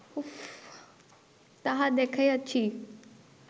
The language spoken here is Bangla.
তাহা দেখাইয়াছি